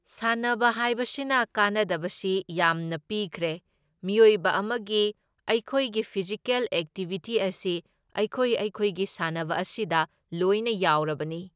ꯁꯥꯟꯅꯕ ꯍꯥꯏꯕꯁꯤꯅ ꯀꯥꯟꯅꯕꯁꯤ ꯌꯥꯝꯅ ꯄꯤꯈ꯭ꯔꯦ, ꯃꯤꯑꯣꯏꯕ ꯑꯃꯒꯤ ꯑꯩꯈꯣꯏꯒꯤ ꯐꯤꯖꯤꯀꯦꯜ ꯑꯦꯛꯇꯤꯕꯤꯇꯤ ꯑꯁꯤ ꯑꯩꯈꯣꯏ ꯑꯩꯈꯣꯏꯒꯤ ꯁꯥꯟꯅꯕ ꯑꯁꯤꯗ ꯂꯣꯏꯅ ꯌꯥꯎꯔꯕꯅꯤ꯫